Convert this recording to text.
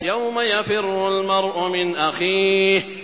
يَوْمَ يَفِرُّ الْمَرْءُ مِنْ أَخِيهِ